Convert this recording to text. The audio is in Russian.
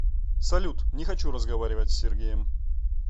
салют не хочу разговаривать с сергеем